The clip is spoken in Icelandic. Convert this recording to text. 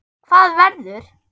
Hvað verður?